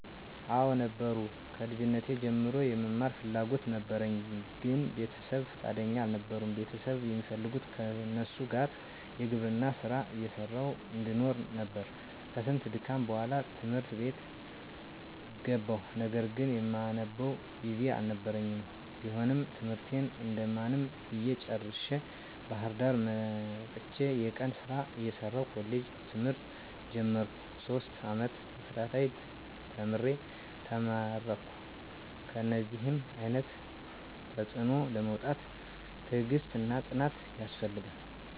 *አወ ነበሩ፦ ከልጅነቴ ጀምሮ የመማር ፍላጎት ነበረኝ ግን ቤተሰብ ፍቃደኛ አልነበሩም ቤተሰብ የሚፈልጉት ከነሱ ጋር የግብርና ስራ እየሰራሁ እንድኖር ነበር፤ ከስንት ድካም በኋላ ት/ት ቤት ገባሁ ነገር ግን የማነብበት ጊዜ አልነበረኝም ቢሆንም ትምህርቴን እንደማንም ብዬ ጨርሸ፤ ባህርዳር መጥቸ የቀን ስራ እየሰራሁ ኮሌጅ ትምህርት ጀመርኩ፤ ሶስት አመት ተከታታይ ተምሬ ተመረከሁ። ከእነደዚህ አይነት ተፅዕኖ ለመውጣት ትግስትና ፅናት ያስፈልጋል።